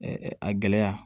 a gɛlɛya